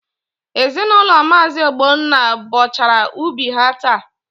Ezinaụlọ Maazi Ogbonna bọchara ubi ha taa.